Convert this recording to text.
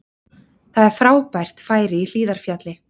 Það er frábært færi í Hlíðarfjalli